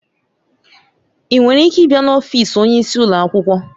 Ị nwere ike ịbịa n'ọfịs onyeisi ụlọ akwụkwọ?